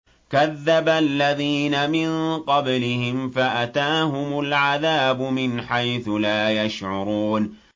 كَذَّبَ الَّذِينَ مِن قَبْلِهِمْ فَأَتَاهُمُ الْعَذَابُ مِنْ حَيْثُ لَا يَشْعُرُونَ